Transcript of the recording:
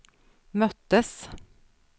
möttes